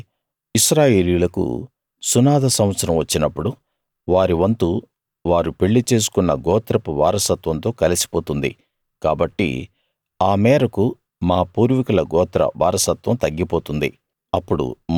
కాబట్టి ఇశ్రాయేలీయులకు సునాద సంవత్సరం వచ్చినప్పుడు వారి వంతు వారు పెళ్లి చేసుకున్న గోత్రపు వారసత్వంతో కలిసిపోతుంది కాబట్టి ఆ మేరకు మా పూర్వీకుల గోత్ర వారసత్వం తగ్గిపోతుంది